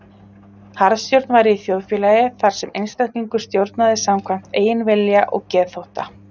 Harðstjórn væri í þjóðfélagi þar sem einstaklingur stjórnaði samkvæmt eigin vilja og geðþótta.